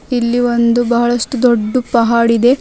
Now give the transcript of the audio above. ಇಲ್ಲಿ ಒಂದು ಬಹಳಷ್ಟು ದೊಡ್ಡು ಪಹಡ್ ಇದೆ.